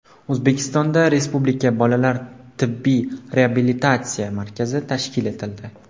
O‘zbekistonda respublika bolalar tibbiy reabilitatsiya markazi tashkil etildi.